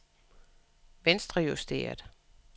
venstrejusteret